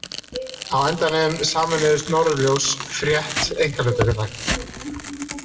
Á endanum sameinuðust Norðurljós Frétt einkahlutafélag.